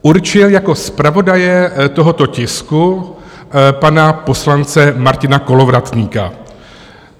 ... určil jako zpravodaje tohoto tisku pana poslance Martina Kolovratníka.